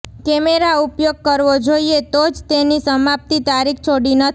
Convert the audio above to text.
camera ઉપયોગ કરવો જોઇએ તો જ તેની સમાપ્તિ તારીખ છોડી નથી